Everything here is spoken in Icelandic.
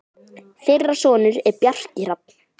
Þeirra sonur er Bjarki Hrafn.